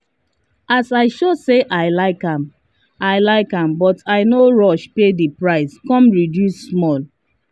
as i show say i like am i like am but i no rush pay the price come reduce small.